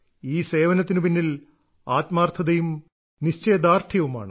ഈ സേവനത്തിന് പിന്നിൽ ആത്മാർത്ഥതയും നിശ്ചയദാർഢ്യവുമാണ്